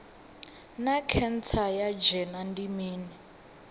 naa khentsa ya dzhende ndi mini